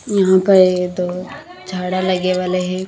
यहाँ पर ये तो झाड़ा लगे वाले हैं।